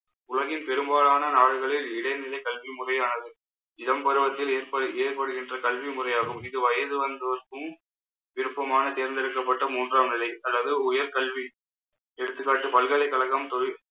உலகின் பெரும்பாலான நாடுகளில் இடைநிலை கல்வி முறையானது. இளம் பருவத்தில் ஏற்ப~ ஏற்படுகின்ற கல்வி முறையாகவும் இது வயது வந்தோருக்கும் விருப்பமான தேர்ந்தெடுக்கப்பட்ட மூன்றாம் நிலை அதாவது உயர் கல்வி. எடுத்துக்காட்டு பல்கலைக்கழகம் தொழில்